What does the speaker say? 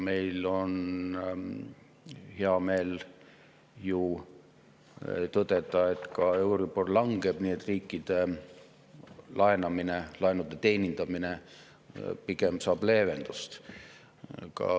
Meil on hea meel tõdeda, et ka euribor langeb, nii et riikide laenude teenindamine saab pigem leevendust.